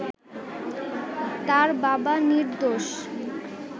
তার বাবা নির্দোষ